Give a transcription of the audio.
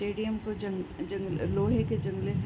stadium को जंग-जंग लोहे के जंगले से --